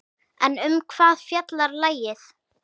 En um hvað fjallar lagið?